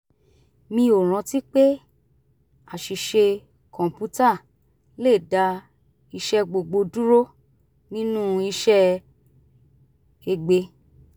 mi ò rántí pé àṣìṣe kọ̀ǹpútà le dá iṣẹ́ gbogbo dúró nínú iṣẹ́ egbe